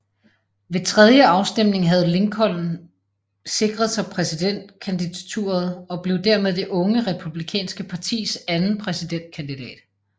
Ved tredje afstemning havde Lincoln sikret sig præsidentkandidaturet og blev dermed det unge republikanske partis anden præsidentkandidat